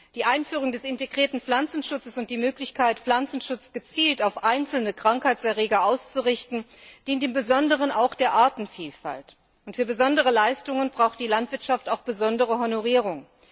Die Einführung des integrierten Pflanzenschutzes und die Möglichkeit, Pflanzenschutz gezielt auf einzelne Krankheitserreger auszurichten, dient im Besonderen der Artenvielfalt. Und für besondere Leistungen braucht die Landwirtschaft auch besondere Honorierung.